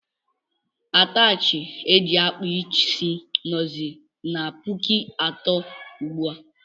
Atachi eji akpa isi nọzi n' pụkụ atọ ugbua.